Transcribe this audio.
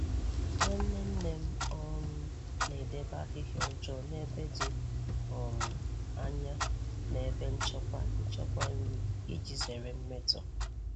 Nwanne nne m um na-edebe ahịhịa ọjọọ n'ebe dị um anya na ebe nchekwa nchekwa nri iji zere mmetọ.